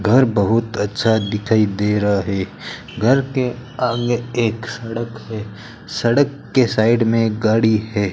घर बहुत अच्छा दिखाई दे रहा है घर के आगे एक सड़क है सड़क के साइड में गाड़ी है।